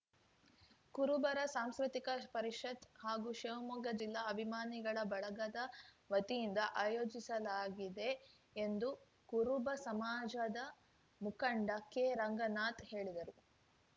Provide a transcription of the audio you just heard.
ಕುರುಬರ ಸಾಂಸ್ಕೃತಿಕ ಪರಿಷತ್‌ ಹಾಗೂ ಶಿವಮೊಗ್ಗ ಜಿಲ್ಲಾ ಅಭಿಮಾನಿಗಳ ಬಳಗದ ವತಿಯಿಂದ ಆಯೋಜಿಸಲಾಗಿದೆ ಎಂದು ಕುರುಬ ಸಮಾಜದ ಮುಖಂಡ ಕೆ ರಂಗನಾಥ್‌ ಹೇಳಿದರು